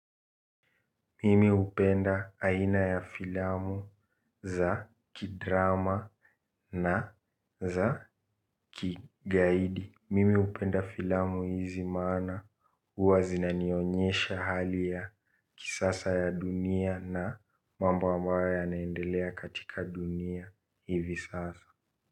Mimi hupenda aina ya filamu za kidrama na za kigaidi. Mimi hupenda filamu hizi maana huabzina nionyesha hali ya kisasa ya dunia na mambo ambayo yanaendelea katika dunia hivi sasa.